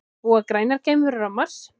Búa grænar geimverur á Mars?